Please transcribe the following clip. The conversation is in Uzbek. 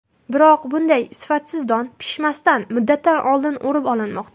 Biroq, bunday sifatsiz don pishmasdan, muddatidan oldin o‘rib olinmoqda.